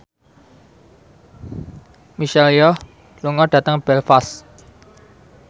Michelle Yeoh lunga dhateng Belfast